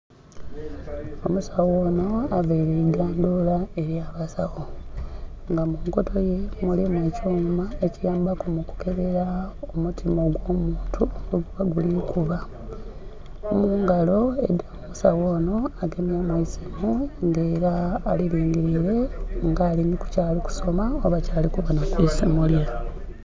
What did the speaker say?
Omusagho onho avaire eigandhula elya basagho nga munkoto ye mulimu ekyuma ekitambaku mu kukebera omutima gwo muntu bweguba gili kuba. Mungalo endhoki musagho onho agemyemu esiimu nga era ali lingilile nga aliku nhi kyali kusoma oba kyali kubonha kwisimu lye.